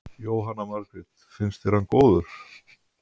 Jóhanna Margrét: Finnst þér hann góður?